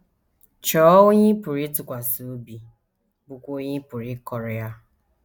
Chọọ onye ị pụrụ ịtụkwasị obi, bụ́kwa onye ị pụrụ ịkọrọ ya.